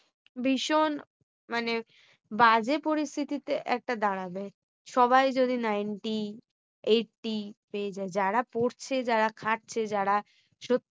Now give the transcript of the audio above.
ভীষণ মানে বাজে পরিস্থিতিতে এটা দাঁড়াবে। সবাই যদি ninety eighty পেয়ে যায়। যারা পড়ছে যারা খাচ্ছে যারা